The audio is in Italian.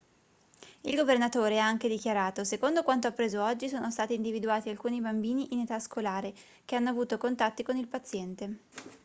il governatore ha anche dichiarato secondo quanto appreso oggi sono stati individuati alcuni bambini in età scolare che hanno avuto contatti con il paziente